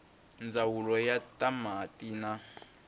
ndzawulo ya ta mati na